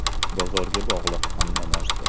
Bozorga bog‘liq hamma narsa.